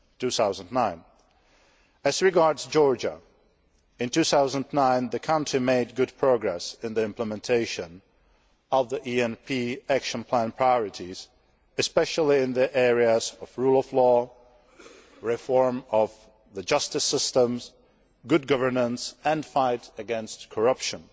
2009. As regards Georgia, in 2009, the country made good progress in the implementation of the ENP action plan priorities, especially in the areas of rule of law, reform of the justice system, good governance and the fight against corruption.